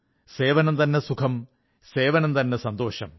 സേവനംതന്നെ സുഖം സേവനംതന്നെ സന്തോഷം